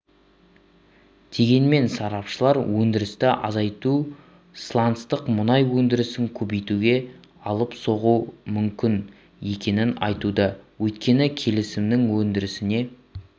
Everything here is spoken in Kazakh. дегенмен сарапшылар өндірісті азайтуы сланцтық мұнай өндірісін көбейтуге алып соғуы мүмкін екенін айтуда өйткені келісімінің өндірісіне